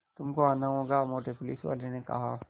तुमको आना होगा मोटे पुलिसवाले ने कहा